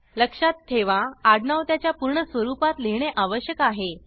लक्षात ठेवा आडनाव त्याच्या पूर्ण स्वरूपात लिहीणे आवश्यक आहे